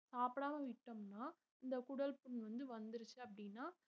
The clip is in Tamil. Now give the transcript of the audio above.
சாப்பிடாம விட்டோம்ன்னா இந்த குடல்புண் வந்து வந்திருச்சு அப்படின்னா